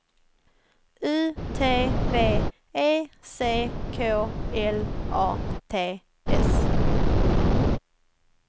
U T V E C K L A T S